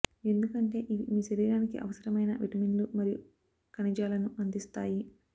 ఎందుకంటే ఇవి మీ శరీరానికి అవసరమైన విటమిన్లు మరియు ఖనిజాలను అందిస్తాయి